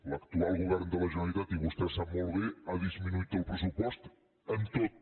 l’actual govern de la generalitat i vostè ho sap molt bé ha disminuït el pressupost en tot